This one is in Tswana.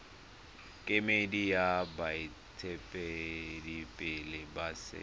kemedi ya baeteledipele ba setso